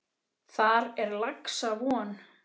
Þar er laxa von.